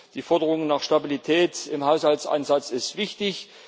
Die Forderung nach Stabilität im Haushaltsansatz ist wichtig.